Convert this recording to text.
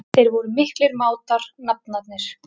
Þeir voru miklir mátar, nafnarnir.